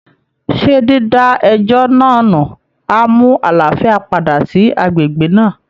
Ṣé dída ẹjọ́ náà nù á mú àlàáfíà padà sí agbègbè náà?